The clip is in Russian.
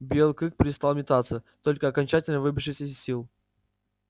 белый клык перестал метаться только окончательно выбившись из сил